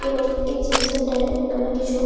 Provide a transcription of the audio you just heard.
এবং এই gym centre -এ আমরা কিছু--